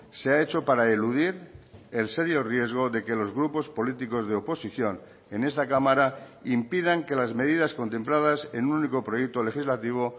se ha hecho para eludir el serio riesgo de que los grupos políticos de oposición en esta cámara impidan que las medidas contempladas en un único proyecto legislativo